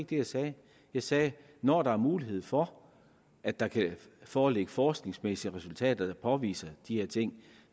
det jeg sagde jeg sagde når der er mulighed for at der kan foreligge forskningsmæssige resultater der påviser de her ting